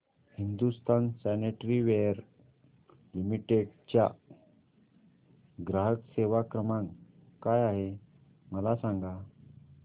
Hindustan sanitaryware limited चा ग्राहक सेवा क्रमांक काय आहे मला सांगा